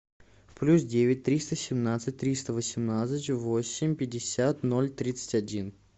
плюс девять триста семнадцать триста восемнадцать восемь пятьдесят ноль тридцать один